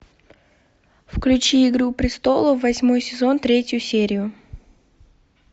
включи игру престолов восьмой сезон третью серию